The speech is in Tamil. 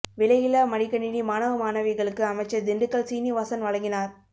விலையில்லா மடிக்கணிணி மாணவ மாணவிகளுக்கு அமைச்சர் திண்டுக்கல் சீனிவாசன் வழங்கினார்